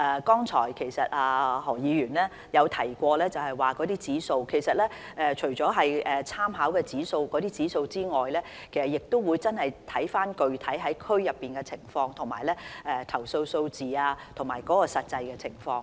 剛才何議員提到一些指數，其實除了參考這些指數外，亦要看看區內具體情況、投訴數字和實際情況。